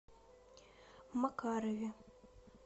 макарове